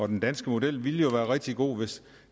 den danske model ville jo være rigtig god hvis